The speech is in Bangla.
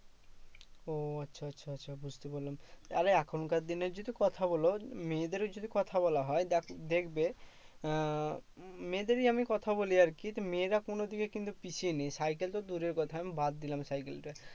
ও আচ্ছা আচ্ছা আচ্ছা বুঝতে পারলাম। আরে এখনকার দিনের যদি কথা বলো, মায়েদেরই যদি কথা বলা হয়, যাকে দেখবে আহ মেয়েদেরই আমি কথা বলি আরকি, তা মেয়েরা কোনদিকেই কিন্তু পিছিয়ে নেই সাইকেল তো দূরের কথা বাদ দিলাম সাইকেলটা।